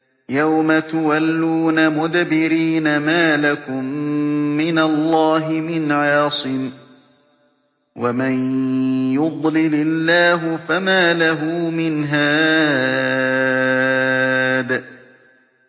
يَوْمَ تُوَلُّونَ مُدْبِرِينَ مَا لَكُم مِّنَ اللَّهِ مِنْ عَاصِمٍ ۗ وَمَن يُضْلِلِ اللَّهُ فَمَا لَهُ مِنْ هَادٍ